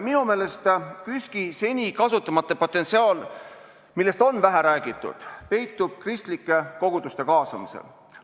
Minu meelest peitub KÜSK-i seni kasutamata potentsiaal, millest on vähe räägitud, kristlike koguduste kaasamises.